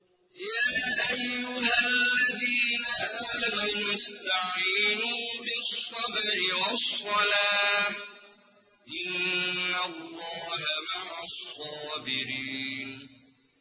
يَا أَيُّهَا الَّذِينَ آمَنُوا اسْتَعِينُوا بِالصَّبْرِ وَالصَّلَاةِ ۚ إِنَّ اللَّهَ مَعَ الصَّابِرِينَ